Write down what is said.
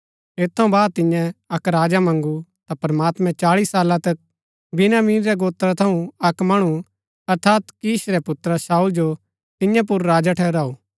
ऐत थऊँ बाद तिन्ये अक्क राजा मँगू ता प्रमात्मैं चाळी साला तक बिन्यामीन रै गोत्रा थऊँ अक्क मणु अर्थात कीश रै पुत्रा शाऊल जो तियां पुर राजा ठहराऊ